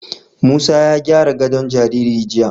Musa ya gyara gadon jariri jiya.